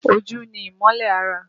Ojú ni ìmọ́lẹ̀ ara